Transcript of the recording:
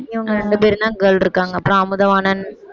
இவங்க ரெண்டு பேரும்தான் girl இருக்காங்க அப்புறம் அமுதவாணன்